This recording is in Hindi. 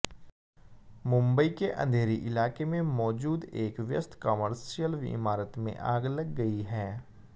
मुंबई के अंधेरी इलाके में मौजूद एक व्यस्त कॉमर्शियल इमारत में आग लग गई है